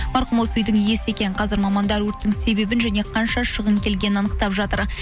марқұм осы үйдің иесі екен қазір мамандар өрттің себебін және қанша шығын келгенін анықтап жатыр